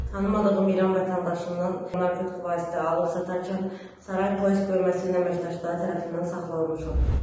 Tanımadığım İran vətəndaşından narkotik vasitə alıb satarkən Saray Polis bölməsinin əməkdaşları tərəfindən saxlanılmışdı.